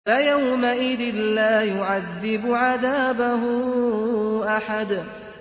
فَيَوْمَئِذٍ لَّا يُعَذِّبُ عَذَابَهُ أَحَدٌ